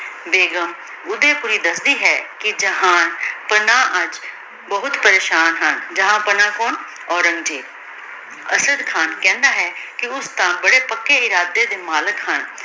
ਬੇਗੁਮ ਓਡੀ ਮੁਰੀ ਦਸਦੀ ਹੈ ਕੇ ਜਹਾ ਪਾਨਾ ਆਜ ਬੋਹਤ ਪਰੇਸ਼ਾਨ ਹਨ ਜਹਾਂ ਪਾਨਾ ਕੋੰ ਔਰੇਨ੍ਗ੍ਜ਼ੇਬ ਅਰਸ਼ਦ ਖਾਨ ਕਹੰਦਾ ਹੈ ਕੇ ਓਸ ਤਾਂ ਬਾਰੇ ਪਕੀ ਇਰਾਡੀ ਦੇ ਮਲਿਕ ਹਨ